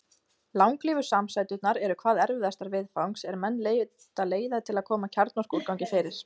Langlífu samsæturnar eru hvað erfiðastar viðfangs er menn leita leiða til að koma kjarnorkuúrgangi fyrir.